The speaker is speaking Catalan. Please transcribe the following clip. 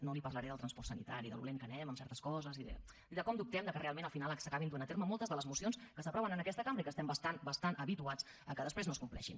no li parlaré del transport sanitari de com de lents anem en certes coses i de com dubtem que realment al final s’acabin duent a terme moltes de les mocions que s’aproven en aquesta cambra i que estem bastant bastant habituats al fet que després no es compleixin